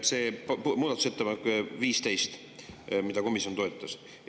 See muudatusettepanek 15, mida komisjon toetas.